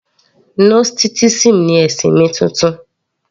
Gnosticism ni ẹ̀sìn mi titun